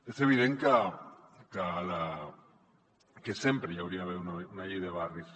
és evident que sempre hi hauria d’haver una llei de barris